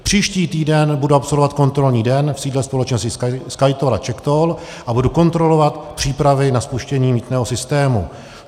Příští týden budu absolvovat kontrolní den v sídle společnosti SkyToll a CzechToll a budu kontrolovat přípravy na spuštění mýtného systému.